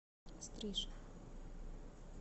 стриж